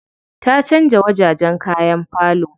Ta canza wajajen kayan falo.